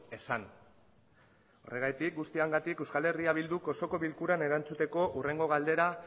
ezan horregatik guztiagatik euskal herria bilduk osoko bilkuran erantzuteko hurrengo galdera